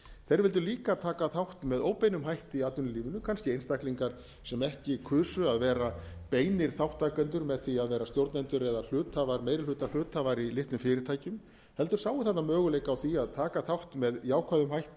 þeir vildu líka taka þátt með óbeinum hætti í atvinnulífinu kannski einstaklingar sem ekki kusu að vera beinir þátttakendur með því að vera stjórnendur eða hluthafar meiri hluta hluthafar í fyrirtækjum heldur sáu þarna möguleika á því að taka þátt með jákvæðum hætti